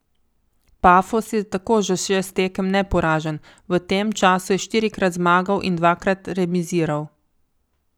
Pafos je tako že šest tekem neporažen, v tem času je štirikrat zmagal in dvakrat remiziral.